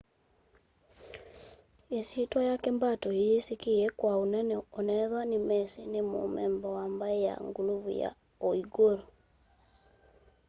isyitwa yake mbato iyisikie kwa anene onethwa nimesi ni mumemba wa mbai ya nguluvu ya uighur